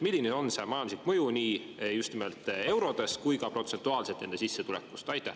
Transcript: Milline on see majanduslik mõju nii eurodes kui ka protsentuaalselt nende sissetulekust?